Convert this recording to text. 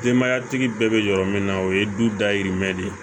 Denbayatigi bɛɛ bɛ yɔrɔ min na o ye du dayirimɛ de ye